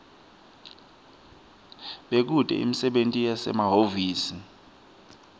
bekute imisebenti yasehhovisi